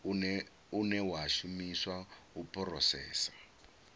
une wa shumiswa u phurosesa